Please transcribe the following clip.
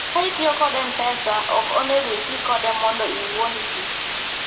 ka itiyo kod mpesa, ok onego iti kode mondo iwuond ji